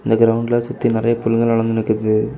இந்த கிரவுண்ட்ல சுத்தி நெறய புல்லுங்கலாம் வளந்து நிக்கிது.